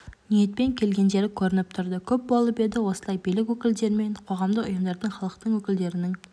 ниетпен келгендері көрініп тұрды көп болып еді осылай билік өкілдері мен қоғамдық ұйымдардың халықтың өкілдерінің